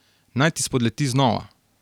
Naj ti spodleti znova.